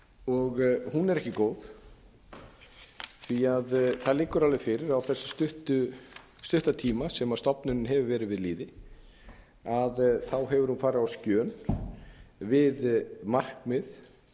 og hún er ekki góð því að það liggur alveg fyrir að á þessum stutta tíma sem stofnunin hefur verið við lýði hefur hún farið á skjön við markmið